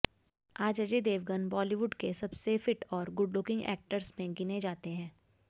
आज अजय देवगन बॉलीवुड के सबसे फिट और गुडलुकिंग एक्टर्स में गिने जाते हैं